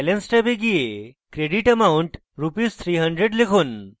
balance ট্যাবে যান credit amount rs 300/ লিখুন